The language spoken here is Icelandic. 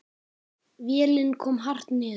Vélin kom hart niður.